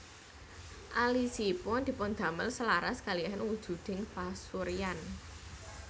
Alisipun dipundamel selaras kalihan wujuding pasuryan